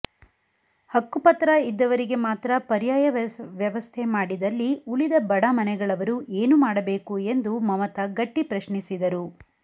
ಹಕ್ಕುಪತ್ರ ಇದ್ದವರಿಗೆ ಮಾತ್ರ ಪರ್ಯಾಯ ವ್ಯವಸ್ಥೆ ಮಾಡಿದಲ್ಲಿ ಉಳಿದ ಬಡ ಮನೆಗಳವರು ಏನು ಮಾಡಬೇಕು ಎಂದು ಮಮತಾ ಗಟ್ಟಿ ಪ್ರಶ್ನಿಸಿದರು